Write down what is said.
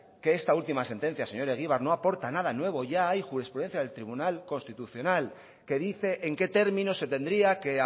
que esta última sentencia señor egibar no aporta nada ya hay jurisprudencia del tribunal constitucional que dice en qué términos se tendría que